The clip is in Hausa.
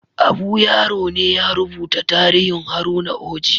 Abu Yaro ne ya rubuta tarihin Haruna Oji